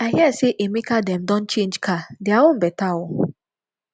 i hear say emeka dem don change car dia own beta oo